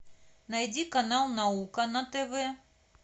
найди канал наука на тв